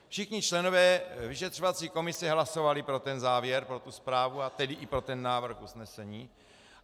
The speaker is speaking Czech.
Všichni členové vyšetřovací komise hlasovali pro ten závěr, pro tu zprávu, a tedy i pro ten návrh usnesení.